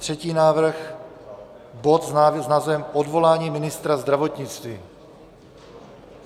Třetí návrh, bod s názvem Odvolání ministra zdravotnictví.